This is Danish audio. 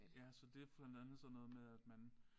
Ja så det blandt andet sådan noget med at man